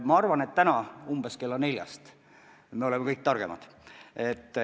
Ma arvan, et täna umbes kella neljast me oleme selles osas targemad.